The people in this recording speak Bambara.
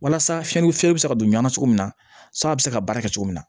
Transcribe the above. Walasa fiɲɛ ni fiɲɛ bɛ se ka don ɲɔn na cogo min na san bɛ se ka baara kɛ cogo min na